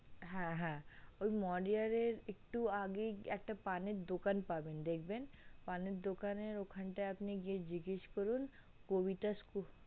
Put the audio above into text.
হে হে ঐ moriya একটু আগেই একটা পানের দোকান পাবেন দেখবেন পানেন দোকানের ওখান টাই আপনি গিয়ে জিজ্ঞাস করুন কবিতা school